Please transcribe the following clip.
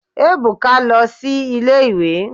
Ebuka lo si ile-iwe